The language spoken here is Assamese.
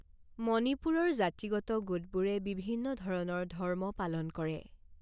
মণিপুৰৰ জাতিগত গোটবোৰে বিভিন্ন ধৰণৰ ধৰ্ম পালন কৰে।